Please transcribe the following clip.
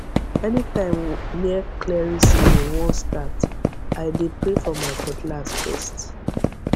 anytime new clearing season wan start i dey pray for my cutlass first